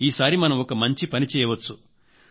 ఈసారి మనం ఒక పనిచేయవచ్చు